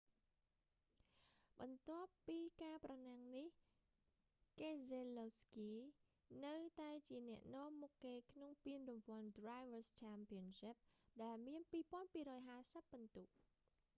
បន្ទាប់ពីការប្រណាំងនេះ កេសេឡូវស្គី នៅតែជាអ្នកនាំមុខគេក្នុងពានរង្វាន់ drivers' championship ដែលមាន 2,250 ពិន្ទុ